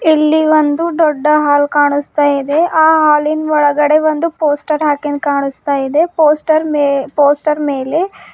ಇಲ್ಲಿ ಒಂದು ದೊಡ್ಡ ಹಾಲ್ ಕಾಣುಸ್ತಾ ಇದೆ ಆ ಹಾಲಿನ್ ಒಳಗಡೆ ಒಂದು ಪೋಸ್ಟರ್ ಹಾಕಿನ್ ಕಾಣುಸ್ತಾ ಇದೆ ಪೋಸ್ಟರ್ ಮೇ ಪೋಸ್ಟರ್ ಮೇಲೆ--